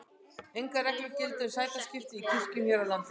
Engar reglur gilda um sætaskipan í kirkjum hér á landi.